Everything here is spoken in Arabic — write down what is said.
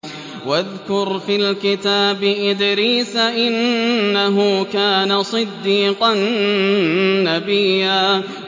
وَاذْكُرْ فِي الْكِتَابِ إِدْرِيسَ ۚ إِنَّهُ كَانَ صِدِّيقًا نَّبِيًّا